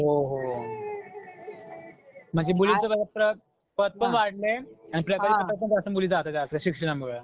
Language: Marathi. हो, हो. म्हणजे मुलींचं बघा पद पण वाढलंय अन पण मुलीचा आदर आहे आता शिक्षणामुळं.